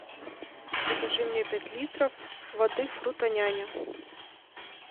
закажи мне пять литров воды фрутоняня